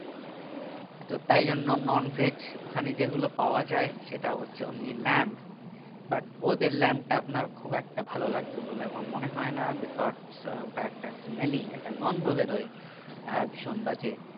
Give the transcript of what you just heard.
তো তাই জন্য non veg ওখানে যেগুলো পাওয়া যাই সেটা হচ্ছে only lamb but ওদের lamb তা আপনার খুব একটা ভাল লাগবে বলে আমার মনে হয় না because ওটা একটা smelly একটা গন্ধ বেরোয় আহ ভীষণ বাজে